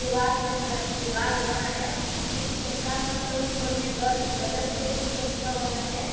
दिवार बन रहा है दीवाल बनाया उसमें गुसरता मस्त अन ऊपर में ग गजब दू छत का बना है।